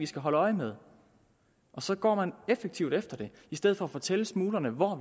skal holde øje med og så går man effektivt efter det i stedet for at fortælle smuglerne hvor